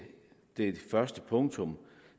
det første punkt